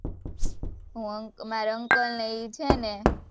મારા uncle ને ઈ છે ને